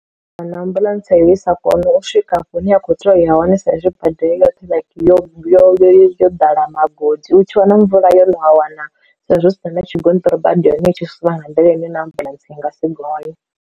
Kana ambuḽentse i sa kone u swika hafho hune ya khou tea u ya hone sa izwi bada yo yo yo ḓala magodi u tshi vha na mvula yo no a wana saizwi hu si ḓa na tshigonṱiri bada ya hone i tshi sina nga nḓila ine na ambuḽentse i nga si gonye.